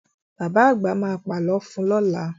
Bàbá àgbà ma pà lọ fun lọ́la